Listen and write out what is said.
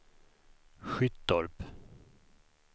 Skyttorp